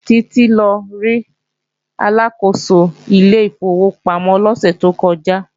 Títí lọ rí Aláàkóso ilé ìfowópamọ́ lọ́sẹ̀ tó kọjá